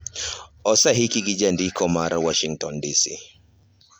Oseiki gi jandiko marwa, Washington DC.